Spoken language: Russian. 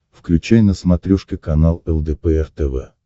включай на смотрешке канал лдпр тв